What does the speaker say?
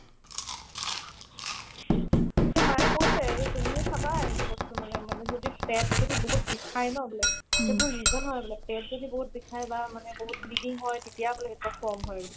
to মায়ে কৈছে এ তুমিও চাবা সেইটো বস্তু মানে মানে যদি পেট যদি বহুত বিষাই ন বোলে সেইবোৰ reason হয় বোলে পেত যদি বহুত বিষাই বা মানে বহুত bleeding হয় তেতিয়াবোলে সেইবিলাক form হয় বোলে